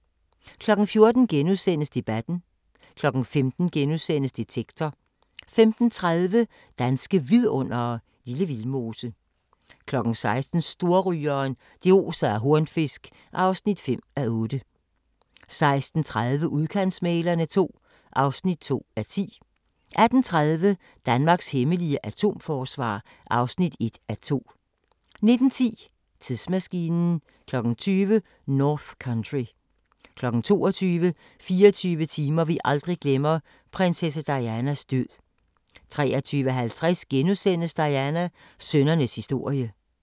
14:00: Debatten * 15:00: Detektor * 15:30: Danske Vidundere: Lille Vildmose 16:00: Storrygeren – det oser af hornfisk (5:8) 16:30: Udkantsmæglerne II (2:10) 18:30: Danmarks hemmelige atomforsvar (1:2) 19:10: Tidsmaskinen 20:00: North Country 22:00: 24 timer vi aldrig glemmer: Prinsesse Dianas død 23:50: Diana – sønnernes historie *